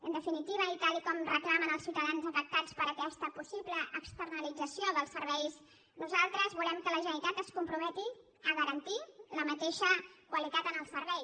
en definitiva i tal com reclamen els ciutadans afectats per aquesta possible externalització dels serveis nosaltres volem que la generalitat es comprometi a garantir la mateixa qualitat en el servei